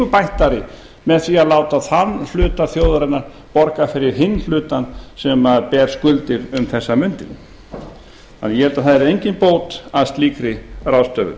bættari með á að láta þann hluta þjóðarinnar borga fyrir hinn hlutann sem ber skuldir um þessar mundir þannig að ég held að það yrði engin bót að slíkri ráðstöfun